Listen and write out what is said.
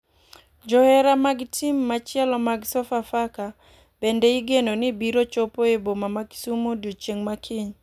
Johera mag tim machielo mag sofa faka bende igeno ni biro chopo e boma ma kisumu odiochieng makiny.